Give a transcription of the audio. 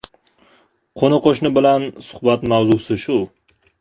Qo‘ni-qo‘shni bilan suhbat mavzusi shu.